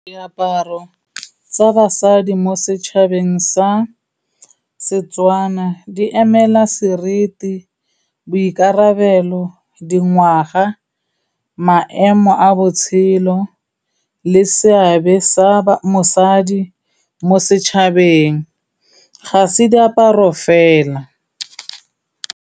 Diaparo tsa basadi mo setšhabeng sa Setswana, di emela sereti, boikarabelo, dingwaga, maemo a botshelo le seabe sa mosadi mo setšhabeng, ga se diaparo fela.